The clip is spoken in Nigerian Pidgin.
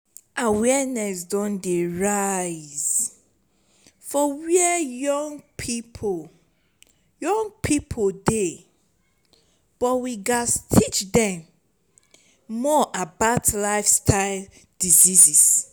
awareness don dey rise for where young pipo young pipo dey but we gats teach dem more about lifestyle diseases.